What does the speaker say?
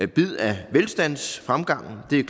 bid af velstandsfremgangen det er